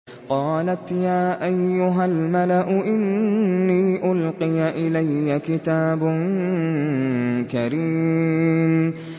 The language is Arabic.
قَالَتْ يَا أَيُّهَا الْمَلَأُ إِنِّي أُلْقِيَ إِلَيَّ كِتَابٌ كَرِيمٌ